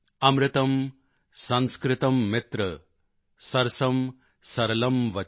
ਅਮਰਤਮ ਸੰਸਕ੍ਰਤਮ੍ ਮਿਤਰ ਸਰਸਮ੍ ਸਰਲਮ੍ ਵਚ